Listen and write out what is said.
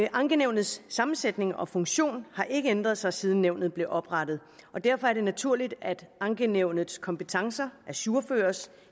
ankenævnets sammensætning og funktion har ikke ændret sig siden nævnet blev oprettet og derfor er det naturligt at ankenævnets kompetencer ajourføres